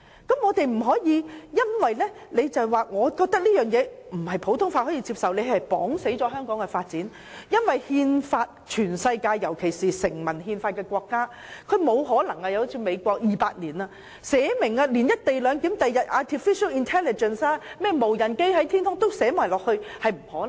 我們不應因為認為它不為普通法所接受而窒礙香港的發展，因為全世界尤其是成文憲法的國家如美國，即使它已有200年的歷史，也沒有可能為後期才出現的"一地兩檢"、artificial intelligence 及無人駕駛飛機等預先制定條文。